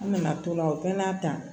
An nana to la o bɛɛ n'a ta